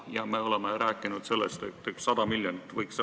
Ja me oleme rääkinud, et see kokkuhoid võiks üks 100 miljonit olla.